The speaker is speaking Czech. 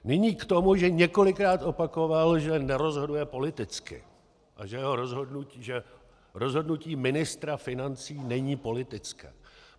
Nyní k tomu, že několikrát opakoval, že nerozhoduje politicky a že rozhodnutí ministra financí není politické.